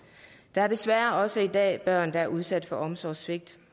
der er desværre også i dag børn der er udsat for omsorgssvigt